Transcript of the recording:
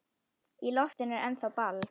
Í loftinu er ennþá ball.